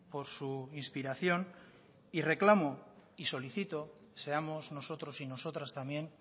por su inspiración y reclamo y solicito seamos nosotros y nosotras también